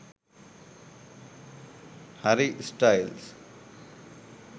harry styles